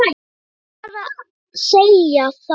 Ég vil bara segja það.